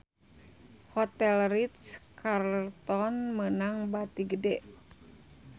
Hotel Ritz-Carlton meunang bati gede